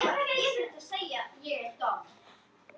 Ég brosi.